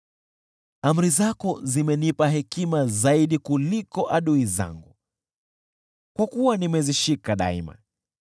Amri zako zimenipa hekima zaidi kuliko adui zangu, kwa kuwa nimezishika daima.